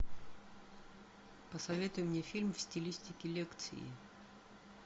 посоветуй мне фильм в стилистике лекции